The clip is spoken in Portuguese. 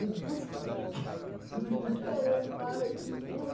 Depois que que arrombaram aquele muro.